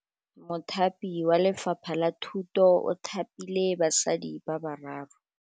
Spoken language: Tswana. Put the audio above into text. Mothapi wa Lefapha la Thutô o thapile basadi ba ba raro.